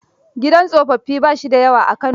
Gidan tsofaffi ba shi da yawa a Kano.